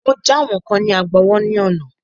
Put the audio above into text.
Mọ já àwọn kán ní Agbowó ní àná.